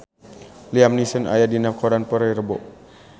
Liam Neeson aya dina koran poe Rebo